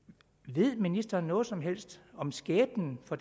ved ministeren noget som helst om skæbnen for